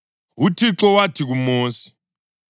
UThixo wathi kuMosi,